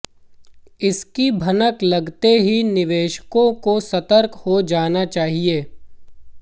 इसकी भनक लगते ही निवेशकों को सतर्क हो जाना चाहिए